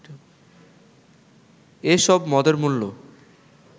এসব মদের মূল্য